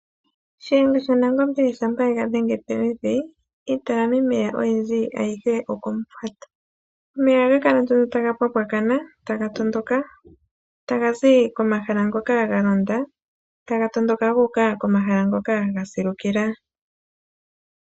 Shiyenga shaNangombe shampa ega dhenge pevi iitalamameya ayihe oko mufwata. Omeya ohaga kala nduno taga mpwampwakana taga zi komahala ngoka galonda guuka komahala ngoka gasilukila.